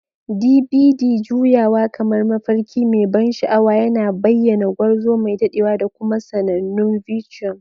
DBD juyawa kamar mafarki mai ban sha'awa, yana bayyana gwarzo mai dadewa da kuma sanannun viciums.